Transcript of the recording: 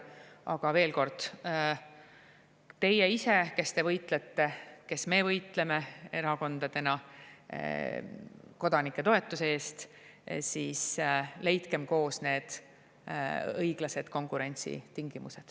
Aga veel kord: teie ise, kes te võitlete,, kes me võitleme erakondadena kodanike toetuse eest, leidkem koos need õiglased konkurentsitingimused.